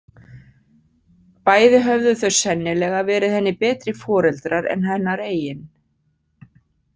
Bæði höfðu þau sennilega verið henni betri foreldrar en hennar eigin.